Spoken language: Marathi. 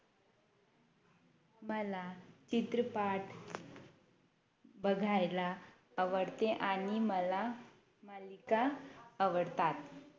मला चित्रपाट बघायला आवडते आणि मला मालिका आवडतात